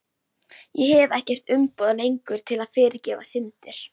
Ég hef ekkert umboð lengur til að fyrirgefa syndir.